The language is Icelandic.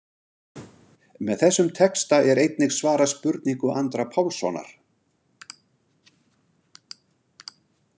Með þessum texta er einnig svarað spurningu Andra Pálssonar.